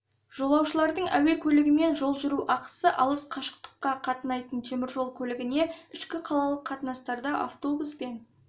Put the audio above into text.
жолаушылардың әуе көлігімен жол жүру ақысы алыс қашықтыққа қатынайтын темір жол көлігіне ішкі қалалық қатынастарда автобуспен